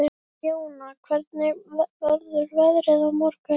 Jóna, hvernig verður veðrið á morgun?